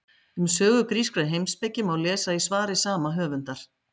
Um sögu grískrar heimspeki má lesa í svari sama höfundar.